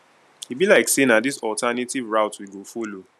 e be like sey na dis alternative route we go folo